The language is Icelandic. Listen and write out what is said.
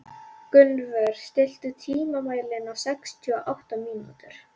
Gunnvör, stilltu tímamælinn á sextíu og átta mínútur.